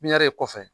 Pipiniyɛri kɔfɛ